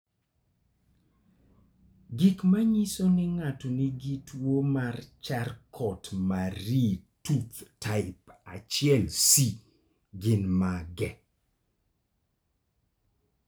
Gik manyiso ni ng'ato nigi tuwo mar Charcot Marie Tooth type 1C gin mage?